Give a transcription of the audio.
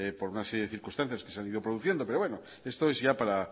por una serie de circunstancias que se han ido produciendo pero bueno esto es ya para